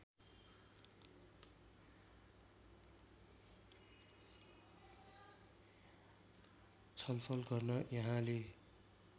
छलफल गर्न यहाँले